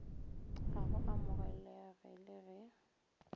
ga go amogelege le ge